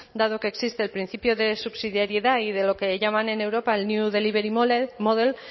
dado que existe el principio de subsidiariedad y de lo que llaman en europa el new delivery model